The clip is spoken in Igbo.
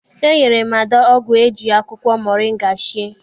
E nyere m Ada ọgwụ eji akwụkwọ moringa sie.